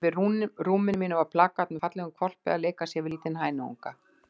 Yfir rúminu mínu var plakat með fallegum hvolpi að leika sér við lítinn hænuunga.